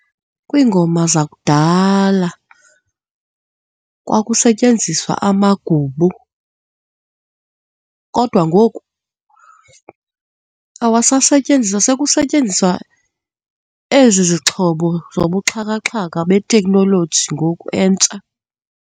Kwiingoma zakudala kwakusetyenziswa amagubu kodwa ngoku awasasetyenziswa. Sekusetyenziswa ezi zixhobo zobuxhakaxhaka beteknoloji ngoku entsha.